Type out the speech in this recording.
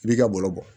I b'i ka balo bɔ